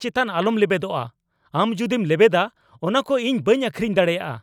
ᱪᱮᱛᱟᱱ ᱟᱞᱚᱢ ᱞᱮᱵᱮᱫᱚᱜᱼᱟ ! ᱟᱢ ᱡᱩᱫᱤᱢ ᱞᱮᱵᱮᱫᱟ ᱚᱱᱟᱠᱚ ᱤᱧ ᱵᱟᱹᱧ ᱟᱹᱠᱷᱨᱤᱧ ᱫᱟᱲᱮᱭᱟᱜᱼᱟ !